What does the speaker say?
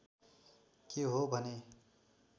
के हो भने